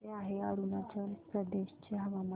कसे आहे अरुणाचल प्रदेश चे हवामान